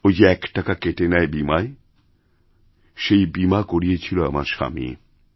ওই যে এক টাকা কেটে নেয়বীমায় সেই বীমা করিয়েছিল আমার স্বামী